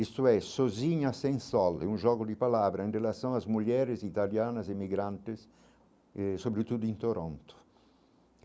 Isto é, sozinha sem sole, um jogo de palavra em relação às mulheres italianas e migrantes eh, sobretudo em Toronto.